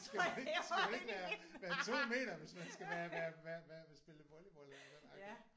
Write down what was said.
Skal man ikke skal man ikke være være 2 meter hvis man skal være være være være spille volleyball eller det agtig?